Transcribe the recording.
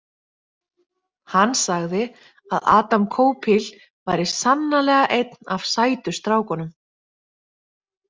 Hann sagði að Adam Koupil væri sannarlega einn af sætu strákunum.